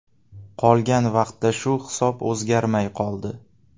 Qolgan vaqtda shu hisob o‘zgarmay qoldi.